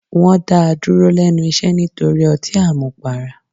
Wọn dá a dúró lẹ́nu iṣẹ́ nítorí ọtí àmupara.